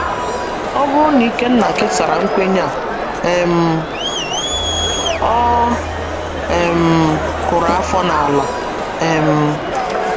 Ọ bụrụ na Ikenna kesara nkwenye a um, ọ um kụrụ afọ n’ala um.